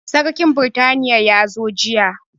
Sarkin britaniya ya zo jiya